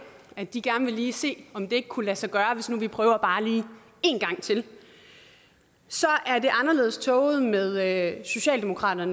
at de gerne lige vil se om det ikke kunne lade sig gøre hvis vi bare lige prøver en gang til er det anderledes tåget med socialdemokratiet